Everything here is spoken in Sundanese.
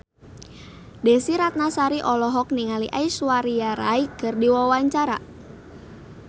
Desy Ratnasari olohok ningali Aishwarya Rai keur diwawancara